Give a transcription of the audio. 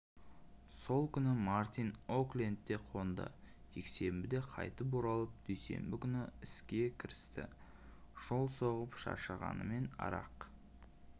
сол күні мартин оклендте қонды жексенбіде қайтып оралып дүйсенбі күні іске кірісті жол соғып шаршағанымен арақ